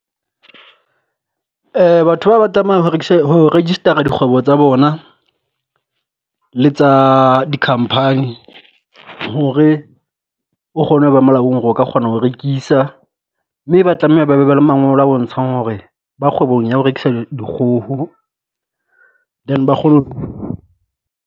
Batho ba ba tlama ho rekisa ho register-a dikgwebo tsa bona le tsa di company hore o kgone ho ba molaong hore o ka kgona ho rekisa. Mme ba tlameha ba be ba le mangolo a bontshang hore ba kgwebong ya ho rekisa dikgoho then ba kgone